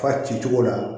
Fa ci cogo la